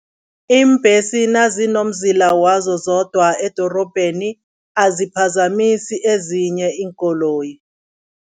Iimbesi nazinomzila wazo zodwa edorobheni, aziphazamisi ezinye iinkoloyi.